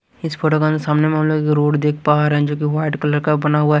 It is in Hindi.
इस फोटो सामने मुहल्ले के रोड देख पा रहे जोकि व्हाइट कलर का बना हुआ--